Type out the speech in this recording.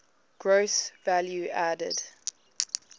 gross value added